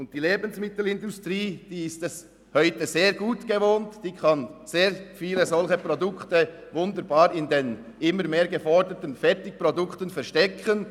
Die Lebensmittelindustrie ist es sich heute gewöhnt, viele solche Produkte in den immer mehr geforderten Fertigprodukten zu verstecken.